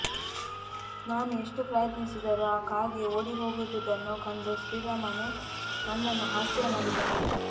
ನಾನು ಎಷ್ಟು ಪ್ರಯತ್ನಿಸಿದರೂ ಆ ಕಾಗೆ ಓಡಿಹೋಗದುದನ್ನು ಕಂಡು ಶ್ರೀರಾಮನು ನನ್ನನ್ನು ಹಾಸ್ಯಮಾಡಿದನು